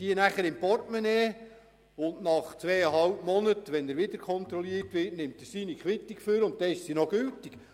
Kann man diese im Portemonnaie aufbewahren und nach zweieinhalb Monaten, wenn man wieder kontrolliert wird, hervornehmen, und sie ist noch gültig?